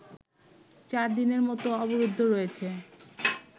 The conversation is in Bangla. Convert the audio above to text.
চারদিনের মতো অবরুদ্ধ রয়েছেন